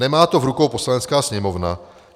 Nemá to v rukou Poslanecká sněmovna.